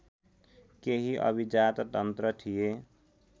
केही अभिजाततन्त्र थिए